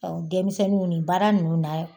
denmisɛnnu u ni baara nunnu na